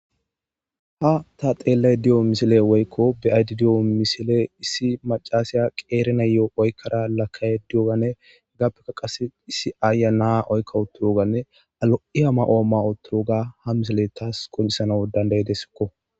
Ha ta xeellay di'o misile woykko bi'aydi di'o misile issi macasiya qeerena yo'o oykkara lakkay di'oganne gappekka qase issi aaya naa oykka uturoganne alo'i ama'ooma uturoga ha misile taas kon'isano dandaydesikko.